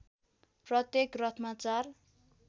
प्रत्येक रथमा चार